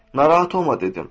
Narahat olma dedim.